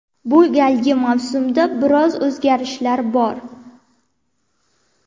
Bu galgi mavsumda biroz o‘zgarishlar bor.